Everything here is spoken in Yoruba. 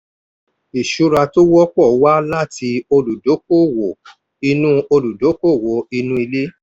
ìṣura tó wọ́pọ̀ wá láti olùdókòwò inú olùdókòwò inú ilé.